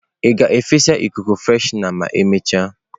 Ị ga-efesa ikuku freshener ma emechaa?